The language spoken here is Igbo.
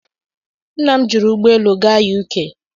Nna m jiri ụgbọ elu gaa U.K.